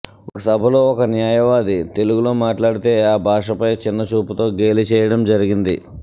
ఒక సభలో ఒక న్యాయవాది తెలుగులో మాట్లాడితే ఆ భాషపై చిన్నచూపుతో గేలి చేయడం జరిగింది